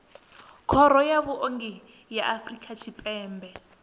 khoro ya vhuongi ya afrika tshipembe